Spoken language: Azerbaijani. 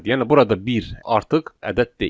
Yəni burada bir artıq ədəd deyil.